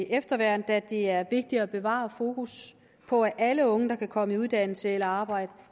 efterværn da det er vigtigt at bevare fokus på at alle unge der kan komme i uddannelse eller arbejde